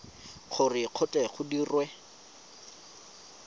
gore go tle go dirwe